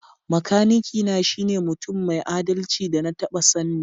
Makanaki na shine mutum mai adalci da na taba sanni.